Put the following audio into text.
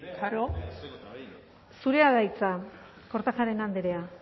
klaro zurea da hitza kortajarena andrea